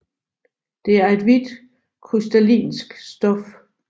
Det er et hvidt krystalinsk stof